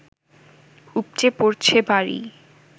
উপচে পড়ছে বাড়ি